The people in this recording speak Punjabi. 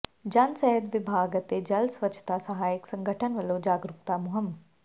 ਜਨ ਸਿਹਤ ਵਿਭਾਗ ਅਤੇ ਜਲ ਸਵੱਛਤਾ ਸਹਾਇਕ ਸੰਗਠਨ ਵੱਲੋਂ ਜਾਗਰੂਕਤਾ ਮੁਹਿੰਮ